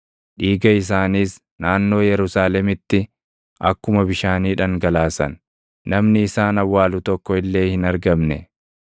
Dhiiga isaaniis naannoo Yerusaalemitti akkuma bishaanii dhangalaasan; namni isaan awwaalu tokko illee hin argamne.